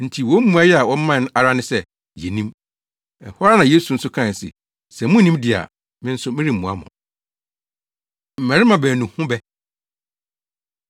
Enti wɔn mmuae a wɔmae ara ne sɛ, “Yennim!” Ɛhɔ ara na Yesu nso kae se, “Sɛ munnim de a, me nso meremmua mo.” Mmabarima Baanu Ho Bɛ